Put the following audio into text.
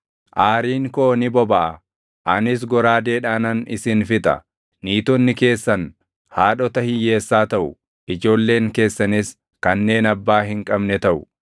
Aariin koo ni bobaʼa; anis goraadeedhaanan isin fixa; niitonni keessan haadhota hiyyeessaa taʼu; ijoolleen keessanis kanneen abbaa hin qabne taʼu.